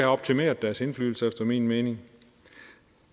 optimeret deres indflydelse efter min mening